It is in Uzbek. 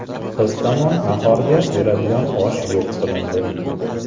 Qiz tomon nahorda beradigan osh yo‘q qilindi.